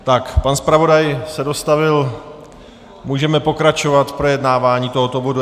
Tak, pan zpravodaj se dostavil, můžeme pokračovat v projednávání tohoto bodu.